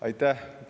Aitäh!